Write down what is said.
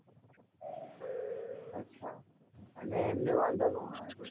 અચ્છા, અને એમને વાંધો નો આવે કોઈ દી